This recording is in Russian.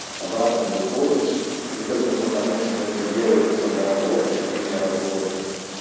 обратно выходишь и только потому что это делается на работе вне работы